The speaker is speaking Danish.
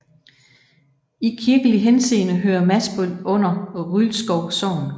I kirkelig henseende hører Masbøl under Rylskov Sogn